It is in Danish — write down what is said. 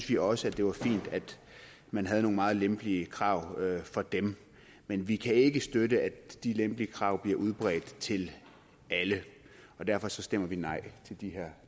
vi også at det var fint at man havde nogle meget lempelige krav for dem men vi kan ikke støtte at de lempelige krav bliver udbredt til alle og derfor stemmer vi nej